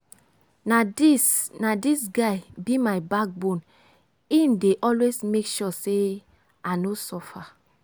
na dis na dis guy be my backbone im dey always make sure sey i no suffer.